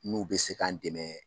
N'u bɛ se k' an dɛmɛ